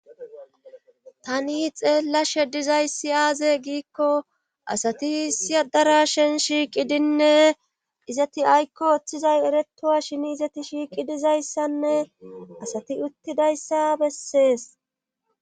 Tani xeellashe dizayssi aaze giikko asati siyadara shen shiiqidinne izati aykko oththizay eretowa shin izati shiiqi dizayssanne asati uttidayssa bessees.